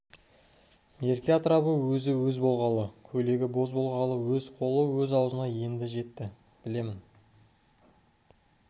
мерке атырабы өзі-өз болғалы көйлегі боз болғалы өз қолы өз аузына енді жетті білем